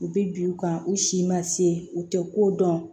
U bɛ bin u kan u si ma se u tɛ ko dɔn